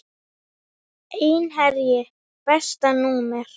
Einherji Besta númer?